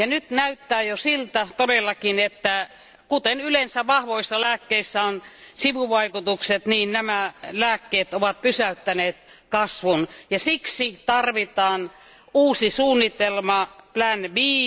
Nyt näyttää todella jo siltä, että kuten yleensä vahvoissa lääkkeissä on sivuvaikutukset, niin nämä lääkkeet ovat pysäyttäneet kasvun ja siksi tarvitaan uusi suunnitelma plan B.